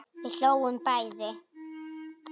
Við hlógum bæði.